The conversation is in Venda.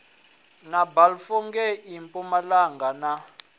na balfour ngei mpumalanga na